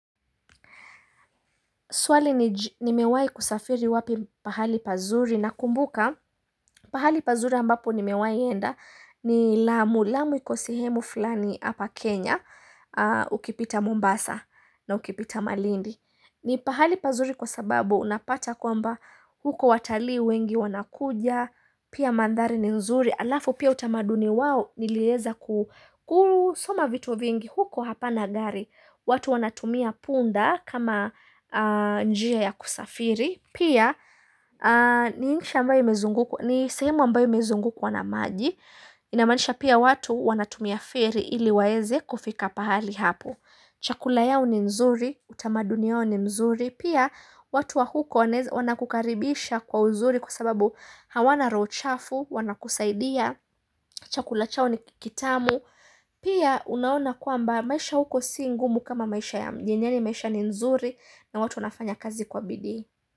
Swali nimewai kusafiri wapi pahali pazuri na kumbuka pahali pazuri ambapo nimewai enda ni Lamu. Lamu iko sehemu fulani hapa Kenya ukipita Mombasa na ukipita Malindi. Ni pahali pazuri kwa sababu unapata kwamba huko watalii wengi wanakuja, pia mandhari ni nzuri. Alafu pia utamaduni wao nilieza kusoma vitu vingi huko hapana gari. Watu wanatumia punda kama njia ya kusafiri, pia ni insha ambayo, ni sehemu ambayo imezukwa na maji Inamanisha pia watu wanatumia feri ili waeze kufika pahali hapo Chakula yao ni nzuri, utamadunia yao ni mzuri. Pia watu wa huko wanakukaribisha kwa uzuri kwa sababu hawana roho chafu, wanakusaidia Chakula chao ni kitamu Pia unaona kwamba maisha huko si ngumu kama maisha ya mjini yani maisha ni nzuri na watu unafanya kazi kwa bidi.